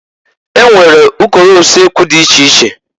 E nwere ụkọrọ ulekwu dị iche iche.